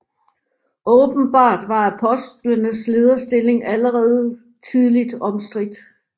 Åbenbart var apostlenes lederstilling allerede tidligt omstridt